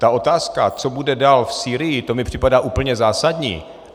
Ta otázka, co bude dál v Sýrii, to mi připadá úplně zásadní.